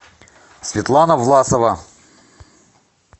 светлана власова